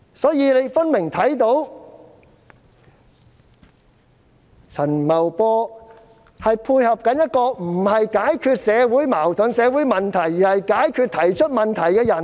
所以，大家看到陳茂波分明正在配合一套專制老路，不解決社會矛盾和問題，反而要解決提出問題的人。